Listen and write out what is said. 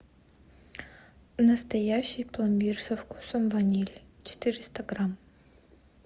настоящий пломбир со вкусом ванили четыреста грамм